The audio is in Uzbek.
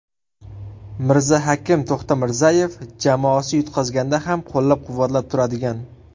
Mirzahakim To‘xtamirzayev: Jamoasi yutqazganda ham qo‘llab-quvvatlab turadigan.